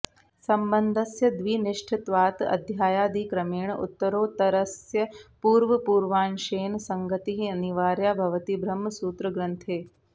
सम्बन्धस्य द्विनिष्ठत्वात् अध्यायादिक्रमेण उत्तरोत्तरस्य पूर्वपूर्वांशेन सङ्गतिः अनिवार्या भवति ब्रह्मसूत्रग्रन्थे